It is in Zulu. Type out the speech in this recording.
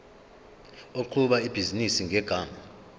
oqhuba ibhizinisi ngegama